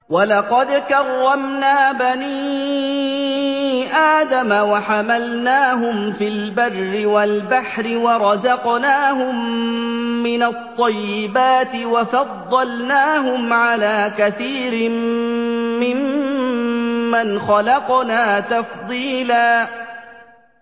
۞ وَلَقَدْ كَرَّمْنَا بَنِي آدَمَ وَحَمَلْنَاهُمْ فِي الْبَرِّ وَالْبَحْرِ وَرَزَقْنَاهُم مِّنَ الطَّيِّبَاتِ وَفَضَّلْنَاهُمْ عَلَىٰ كَثِيرٍ مِّمَّنْ خَلَقْنَا تَفْضِيلًا